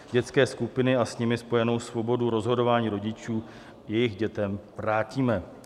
Dětské skupiny a s nimi spojenou svobodu rozhodování rodičů jejich dětem vrátíme.